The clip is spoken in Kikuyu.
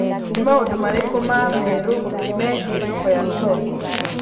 Nĩ maũndũ marĩkũ ma meerũ megiĩ thoko ya stocks